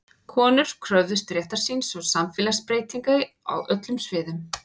Konur kröfðust réttar síns og samfélagsbreytinga á öllum sviðum.